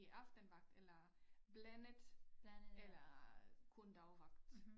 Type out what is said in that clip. Det aftenvagt eller blandet eller kun dagvagt